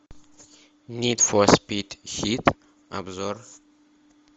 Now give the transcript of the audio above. нид фор спид хит обзор